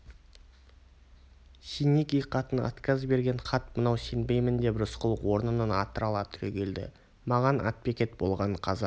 сеники қатын отказ берген хат мынау сенбеймін деп рысқұл орнынан атырыла түрегелді маған атбекет болған қазақ